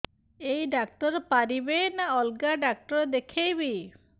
ଏଇ ଡ଼ାକ୍ତର ପାରିବେ ନା ଅଲଗା ଡ଼ାକ୍ତର ଦେଖେଇବି